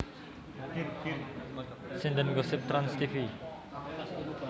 Sinden Gosip Trans Tv